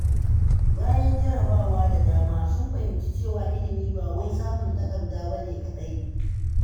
Bayan jarrabawa da dama, sun fahimci cewa ilimi ba wai samun takarda ba ne kaɗai.